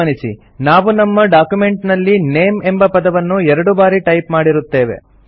ಗಮನಿಸಿ ನಾವು ನಮ್ಮ ಡಾಕ್ಯುಮೆಂಟ್ ನಲ್ಲಿ ನೇಮ್ ಎಂಬ ಪದವನ್ನು ಎರಡು ಬಾರಿ ಟೈಪ್ ಮಾಡಿರುತ್ತೇವೆ